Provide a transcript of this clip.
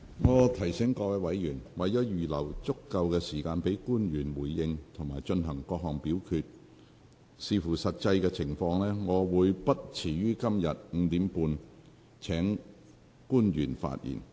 我提醒委員，為了預留足夠時間給官員回應及進行各項表決，視乎實際情況，我會不遲於今天5時30分請官員發言。